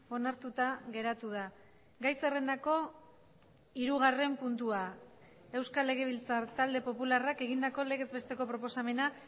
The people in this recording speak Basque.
onartuta geratu da gai zerrendako hirugarren puntua euskal legebiltzar talde popularrak egindako legez besteko proposamena